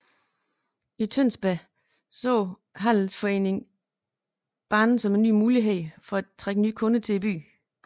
I Tønsberg så handelsforeningen banen som en mulighed for at trække kunder til byen